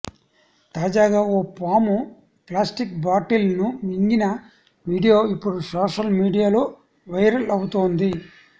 తాజాగా ఓ పాము ప్లాస్టిక్ బాటిల్ ను మింగిన వీడియో ఇప్పుడు సోషల్ మీడియాలో వైరల్ అవుతోంది